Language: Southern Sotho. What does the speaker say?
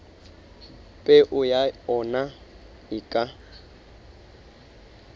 peo ya ona e ka